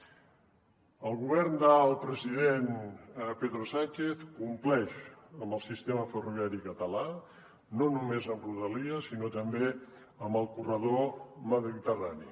el govern del president pedro sánchez compleix amb el sistema ferroviari català no només amb rodalies sinó també amb el corredor mediterrani